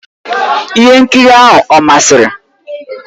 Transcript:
Ihe nkiri ahụ ọ masịrị?